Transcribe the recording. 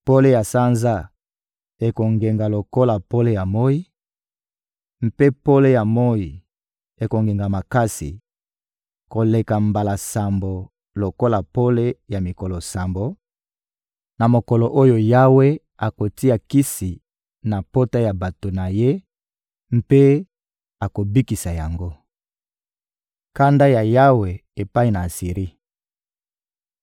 Pole ya sanza ekongenga lokola pole ya moyi, mpe pole ya moyi ekongenga makasi koleka mbala sambo lokola pole ya mikolo sambo, na mokolo oyo Yawe akotia kisi na pota ya bato na Ye mpe akobikisa yango. Kanda ya Yawe epai na Asiri